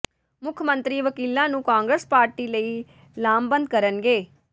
ਮੁੱਖ ਮੰਤਰੀ ਵਕੀਲਾਂ ਨੂੰ ਕਾਂਗਰਸ ਪਾਰਟੀ ਲਈ ਲਾਮਬੰਦ ਕਰਨਗੇ